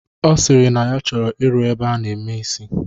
Ọ sịrị na ya chọrọ ịrụ ebe a na-eme isi